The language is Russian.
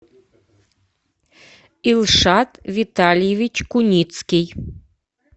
илшат витальевич куницкий